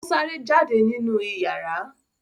ọ sáré jáde nínú iyàrá.